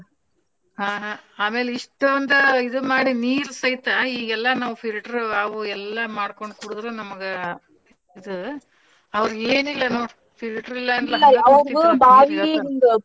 ಹಾ ಹಾ ಆಮೇಲೆ ಇಷ್ಟೊಂದ ಇದ್ ಮಾಡಿ ನೀರ ಸೈತ ಇಗೆಲ್ಲಾ ನಾವ್ filter ಅವು ಎಲ್ಲಾ ಮಾಡ್ಕೊಂಡ್ ಕುಡದ್ರು ನಮ್ಗ ಇದ್ ಅವ್ರಗ ಏನಿಲ್ಲ ನೋಡ್ filter .